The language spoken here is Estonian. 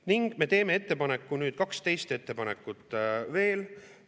Ning me teeme 12 ettepanekut veel.